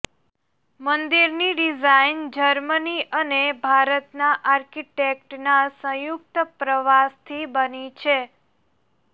મંદિરની design Germany અને ભારતના આર્કિટેક્ટના સંયુક્ત પ્રવાસથી બની છે